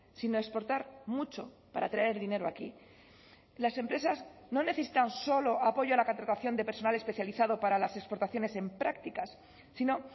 sino exportar mucho para traer dinero aquí las empresas no necesitan solo apoyo a la contratación de personal especializado para las exportaciones en prácticas sino